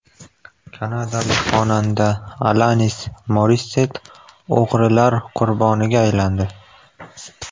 Kanadalik xonanda Alanis Morissett o‘g‘rilar qurboniga aylandi.